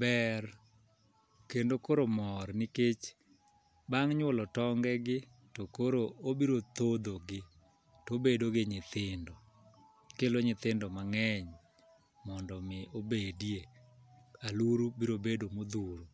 Ber kendo koro mor nikech bang' nyuolo tonge gi to koro obro thodhogi tobedo gi nyithindo. Kelo nyithindo mang'eny, mondo mi obedie, aluro bro bedo modhuro.